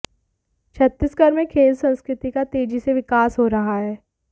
छत्तीसगढ़ में खेल संस्कृति का तेजी से विकास हो रहा है